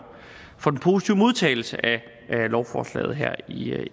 den positive modtagelse af lovforslaget her i